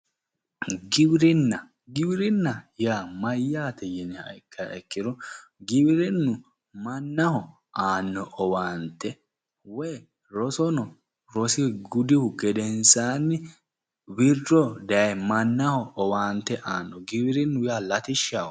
Giwirinna, giwirinna yaa mayyaate? yiniha ikkiha ikkiro giwirinnu mannahobaanno aanno owaante woyi rosono rose gudihu gedensaanni wirro daye mannaho owaante aanno. giwirinnu yaa latishshaho.